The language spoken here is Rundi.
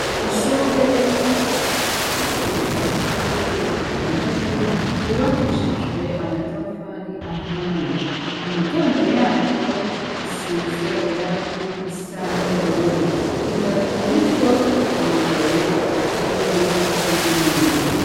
Ishure rifise utuzu twa surwumwe dutandatu, twubakishijwe amatafari ahiye. Imiryango yatwo isize irangi risa n'ubururu. Dutatu muritwo turugaye utundi turuguruye.